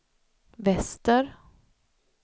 väster